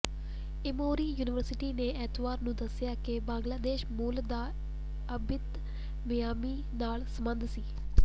Emory University ਨੇ ਐਤਵਾਰ ਨੂੰ ਦੱਸਿਆ ਕਿ ਬੰਗਲਾਦੇਸ਼ੀ ਮੂਲ ਦਾ ਅਬਿਤ ਮਿਆਮੀ ਨਾਲ ਸਬੰਧਤ ਸੀ